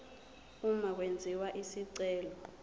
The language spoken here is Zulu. uma kwenziwa isicelo